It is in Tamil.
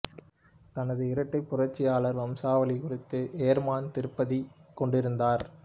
தனது இரட்டைப் புரட்சியாளர் வம்சாவளி குறித்து ஏர்மன் திருப்தி கொண்டிருந்தார்